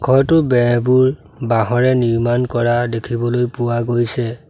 ঘৰটোৰ বেৰবোৰ বাঁহেৰে নিৰ্মাণ কৰা দেখিবলৈ পোৱা গৈছে।